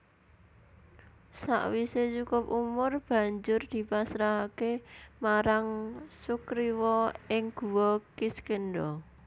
Sawisé cukup umur banjur dipasrahaké marang Sugriwa ing Guwa Kiskendha